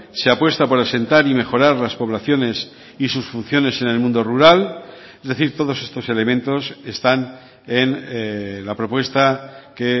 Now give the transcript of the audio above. se apuesta por asentar y mejorar las poblaciones y sus funciones en el mundo rural es decir todos estos elementos están en la propuesta que